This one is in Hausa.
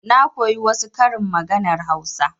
Na koyi wasu karin maganar hausa.